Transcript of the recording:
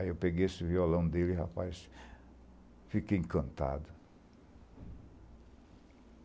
Aí eu peguei esse violão dele, rapaz, fiquei encantado.